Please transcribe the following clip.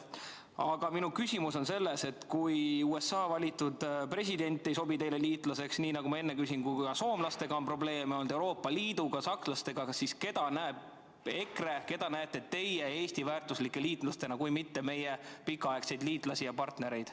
Aga minu küsimus on selles, et kui USA valitud president ei sobi teile liitlaseks ja nii nagu ma enne küsimuses ütlesin, et ka soomlastega on probleeme olnud, samuti Euroopa Liiduga ja sakslastega, siis keda näeb EKRE ja keda näete teie Eesti väärtuslike liitlastena kui mitte meie pikaaegseid liitlasi ja partnereid.